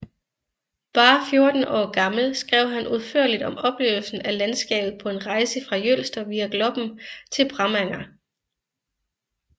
Bare 14 år gammel skrev han udførligt om oplevelsen af landskabet på en rejse fra Jølster via Gloppen til Bremanger